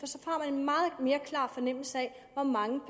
og mere klar fornemmelse af hvor mange